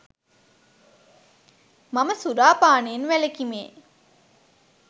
මම සුරා පානයෙන් වැළකීමේ